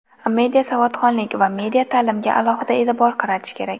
Media savodxonlik va media ta’limga alohida e’tibor qaratish kerak.